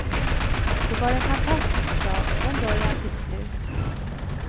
Det var en fantastisk dag från början till slut.